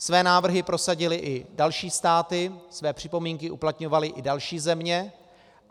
Své návrhy prosadily i další státy, své připomínky uplatňovaly i další země.